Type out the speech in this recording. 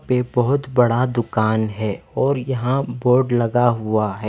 यहाँ बहोत बड़ा दुकान है और यहाँ बोर्ड लगा हुआ है।